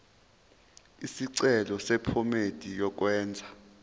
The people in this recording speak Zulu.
isicelo sephomedi yokwenze